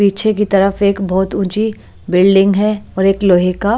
पीछे की तरफ एक बोहोत ऊंची बिल्डिंग है और एक लोहे का --